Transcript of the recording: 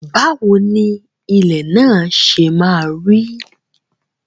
Báwo ni ilẹ̀ náà ṣe maa rí?